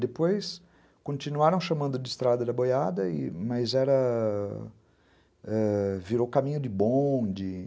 Depois continuaram chamando de estrada da boiada, e, mas era... virou caminho de bonde.